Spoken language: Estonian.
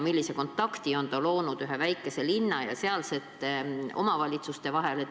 Millise kontakti on ta loonud ühe väikese linna ja sealsete omavalitsuste vahel!